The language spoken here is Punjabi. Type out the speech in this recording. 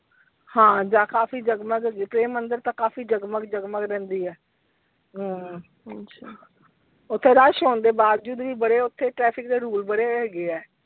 ਹਾਂ ਕਾਫੀ ਜਗਮੱਗ ਹੁੰਦੀ ਮੰਦਿਰ ਤਾ ਕਾਫੀ ਜਗਮਗ ਜਗਮਗ ਰਹਿੰਦੀ ਹੈ ਹਮ ਓਥੇ ਰੱਛ ਹੋਣ ਦੇ ਬਾਵਜੂਦ ਵੀ ਬੜੇ ਓਥੇ traffic ਦੇ rule ਬੜੇ ਹੈਗੇ ਆ।